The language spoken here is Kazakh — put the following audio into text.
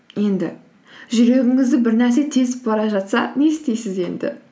енді жүрегіңізді бір нәрсе тесіп бара жатса не істейсіз енді